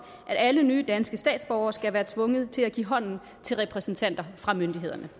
at alle nye danske statsborgere skal være tvunget til at give hånden til repræsentanter fra myndigheden